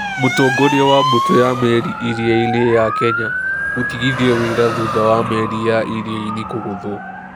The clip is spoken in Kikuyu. Mũtongoria wa mbũtũ ya meri ya iria-inĩ ya Kenya gũtigithio wĩra thutha wa meri ya iria-inĩ kũgũthwo.